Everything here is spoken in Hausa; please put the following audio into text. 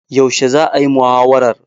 Yaushe za'a yi muhawarar?